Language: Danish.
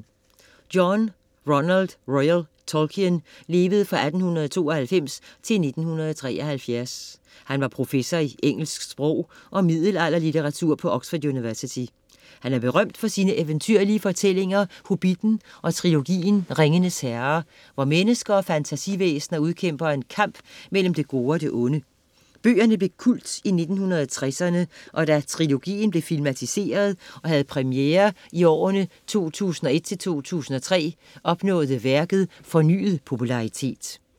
John Ronald Reuel Tolkien levede fra 1892 til 1973. Han var professor i engelsk sprog og middelalderlitteratur på Oxford University. Han er berømt for sine eventyrlige fortællinger Hobitten og trilogien Ringenes Herre, hvor mennesker og fantasivæsener udkæmper en kamp mellem det gode og det onde. Bøgerne blev kult i 1960'erne, og da trilogien blev filmatiseret og havde premiere i årene 2001-2003 opnåede værket fornyet popularitet.